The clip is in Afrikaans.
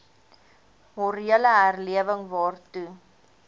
morele herlewing waartoe